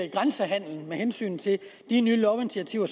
i grænsehandelen med hensyn til de nye lovinitiativer